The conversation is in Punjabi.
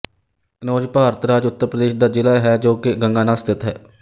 ਕੰਨੌਜ ਭਾਰਤ ਰਾਜ ਉੱਤਰ ਪ੍ਰਦੇਸ਼ ਦਾ ਜਿਲ੍ਹਾ ਹੈ ਜੋ ਕਿ ਗੰਗਾ ਨਾਲ ਸਥਿੱਤ ਹੈ